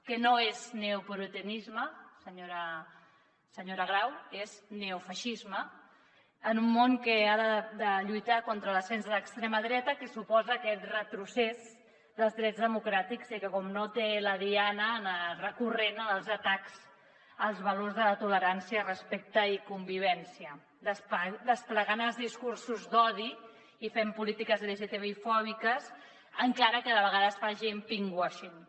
que no és neopuritanisme senyora grau és neofeixisme en un món que ha de lluitar contra l’ascens de l’extrema dreta que suposa aquest retrocés dels drets democràtics i que naturalment té la diana recurrent en els atacs als valors de la tolerància respecte i convivència desplegant els discursos d’odi i fent polítiques lgtbi fòbiques encara que de vegades facin pinkwashing